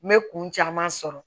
N bɛ kun caman sɔrɔ